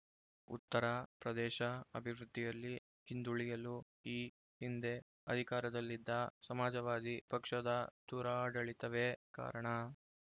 ಉತ್ತರ ಪ್ರದೇಶ ಅಭಿವೃದ್ಧಿಯಲ್ಲಿ ಹಿಂದುಳಿಯಲು ಈ ಹಿಂದೆ ಅಧಿಕಾರದಲ್ಲಿದ್ದ ಸಮಾಜವಾದಿ ಪಕ್ಷದ ದುರಾಡಳಿತವೇ ಕಾರಣ